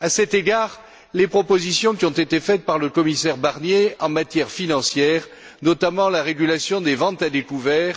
À cet égard, les propositions qui ont été faites par le commissaire Barnier en matière financière, notamment la régulation des ventes à découvert,